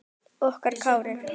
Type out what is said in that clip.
Okkar Kári.